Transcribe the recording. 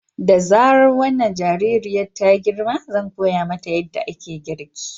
Da zarar wannan jaririyar ta girma zan koya mata yadda ake girki.